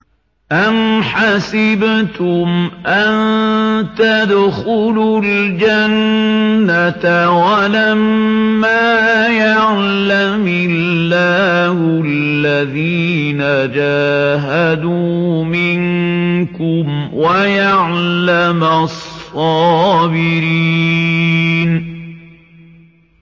أَمْ حَسِبْتُمْ أَن تَدْخُلُوا الْجَنَّةَ وَلَمَّا يَعْلَمِ اللَّهُ الَّذِينَ جَاهَدُوا مِنكُمْ وَيَعْلَمَ الصَّابِرِينَ